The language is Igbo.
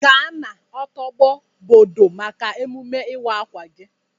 Ga na ọtobo bọdo maka emume ịwa akwa gi.